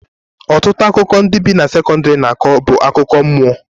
Ọtụtụ akụkọ ndị bi na sekọndrị na-akọ bụ akụkọ mmụọ